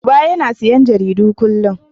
Uba yana siyan jaridu kullum.